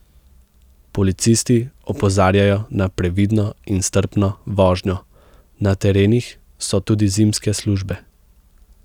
Policisti opozarjajo na previdno in strpno vožnjo, na terenih so tudi zimske službe.